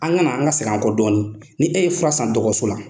An kana, an ka segin an kɔ dɔɔnin, ni e ye fura san dɔgɔtɔrɔso la